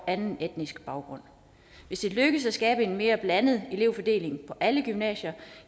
anden etnisk baggrund hvis det lykkes at skabe en mere blandet elevfordeling på alle gymnasier